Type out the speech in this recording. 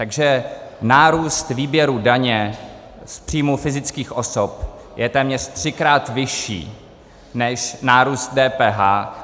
Takže nárůst výběru daně z příjmu fyzických osob je téměř třikrát vyšší než nárůst DPH.